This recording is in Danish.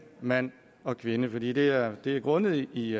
mand og kvinde fordi det er det er grundet i